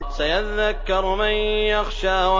سَيَذَّكَّرُ مَن يَخْشَىٰ